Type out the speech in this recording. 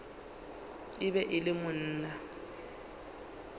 e be e le monna